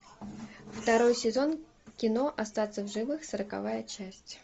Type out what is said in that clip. второй сезон кино остаться в живых сороковая часть